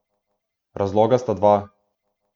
Razloga sta dva.